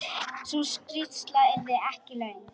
Sú skýrsla yrði ekki löng.